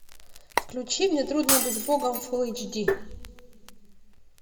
включи мне трудно быть богом фул эйч ди